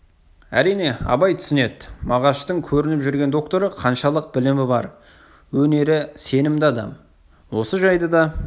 әрине абай түсінеді мағаштың көрініп жүрген докторы қаншалық білімі бар өнері сенімді адам осы жайды да